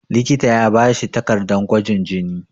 likita ya bashi takardar gwajin jini